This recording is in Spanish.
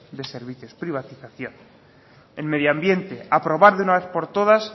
de servicios privatización en medio ambiente aprobar de una vez por todas